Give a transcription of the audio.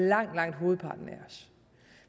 langt langt hovedparten af os